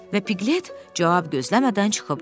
Və Pqlet cavab gözləmədən çıxıb getdi.